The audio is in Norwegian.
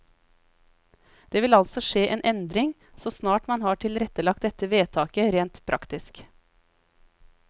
Det vil altså skje en endring, så snart man har tilrettelagt dette vedtaket rent praktisk.